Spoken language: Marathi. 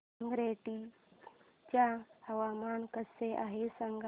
संगारेड्डी चे हवामान कसे आहे सांगा